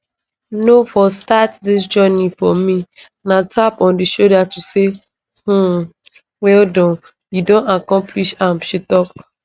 no for start dis journey for me na tap on di shoulder to say um wellAccepted you don accomplish am she tok